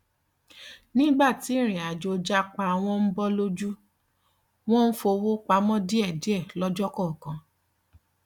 nígbà tí ìrìnàjò japa wọn ń bọ lójú wọn ti ń fowó pamọ díẹ díẹ lọjọ kọọkan